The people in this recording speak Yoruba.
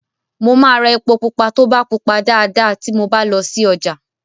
Mo máa ra èpo pupa tó bá pupa dáadáa ti mo bá lọ sí ọjà.